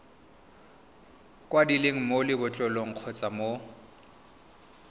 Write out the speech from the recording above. kwadilweng mo lebotlolong kgotsa mo